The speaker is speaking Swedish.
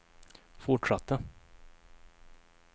fortsatte